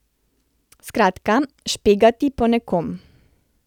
Skratka, špegati po nekom.